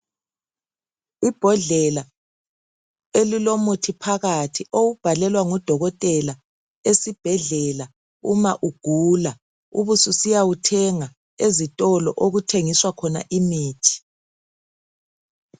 Ibhodlela elilomuthi phakathi owubhalelwa ngudokotela esibhedlela uma ugula ubususiya wuthenga ezitolo okuthengiswa khona imithi.